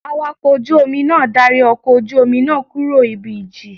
Awakọ̀ ojú Omi náà darí ọkọ̀ ojú Omi náà kúrò ibi ìjì